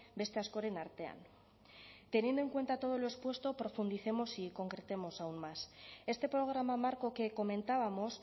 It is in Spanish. beste askoren artean teniendo en cuenta todo lo expuesto profundicemos y concretemos aún más este programa marco que comentábamos